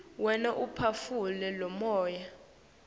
wena uphefumula lomuya